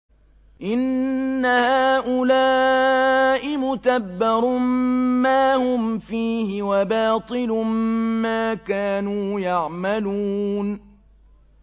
إِنَّ هَٰؤُلَاءِ مُتَبَّرٌ مَّا هُمْ فِيهِ وَبَاطِلٌ مَّا كَانُوا يَعْمَلُونَ